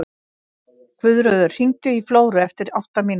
Guðröður, hringdu í Flóru eftir átta mínútur.